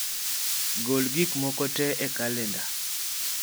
gol gik moko tee e kalenda